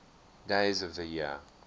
days of the year